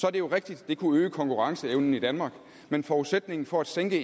er det jo rigtigt at det kunne øge konkurrenceevnen i danmark men forudsætningen for at sænke